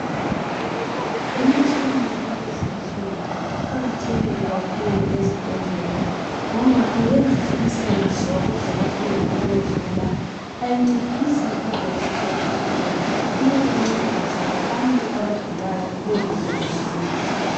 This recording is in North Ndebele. Imitshina yakulezinsuku iqakathekile kakhulu ezibhedlela ngoba iyenza umsebenzi wabodokotela ubelula; ayincedisi odokotela kuphela, iyabancedisa labantu abagulayo bezizwe ngcono.